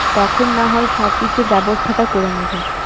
তখন না হয় সবকিছু ব্যবস্থা টা করে নেবো